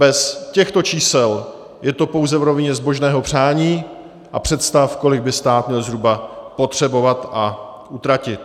Bez těchto čísel je to pouze v rovině zbožného přání a představ, kolik by stát měl zhruba potřebovat a utratit.